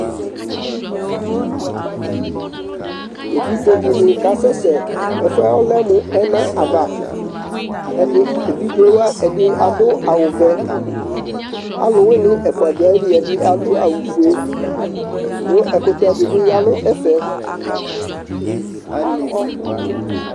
Evidze dɩnɩ kasɛsɛ la kʋ ɛfʋ yɛ lɛ mʋ ɛna ava Ɛdɩ evidze wa ɛdɩ adʋ awʋvɛ Alʋwɩnɩ ɛfʋ dʋ ayili, ɛdɩ adʋ awʋfue kʋ ɛkʋtɛ dɩ bɩ ya nʋ ɛfɛ